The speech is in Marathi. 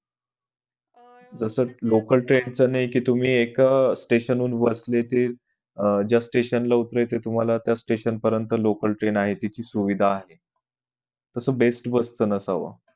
जस local train चा नई कि तुम्ही एका station वरून बसलं कि ज्या station ला उतरायचं तुम्हाला त्या station परेंत local train आहेत याची सुविधा आहे तस best bus नसावं